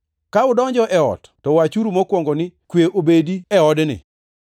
“Ka udonjo e ot to wachuru mokwongo ni, ‘Kwe obedi e odni.’